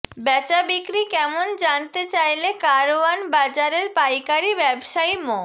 বেচাবিক্রি কেমন জানতে চাইলে কারওয়ান বাজারের পাইকারি ব্যবসায়ী মো